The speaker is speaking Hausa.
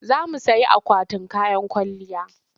Za mu sayi akwatin kayan kwalliya.